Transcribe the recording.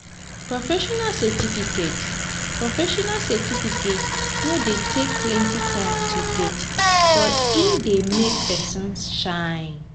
professional certificate professional certificate no dey take plenty time to get but e dey make pesin shine.